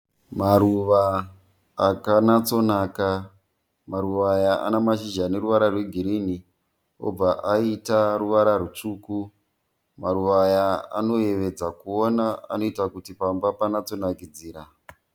Maruva akanyatsonaka. Maruva aya anamashizha aneruvara rwegirinhi obva aita ruvara rwutsvuku. Maruva aya anoyevedza kuona, anoita kuti pamba panatsokunakidzira.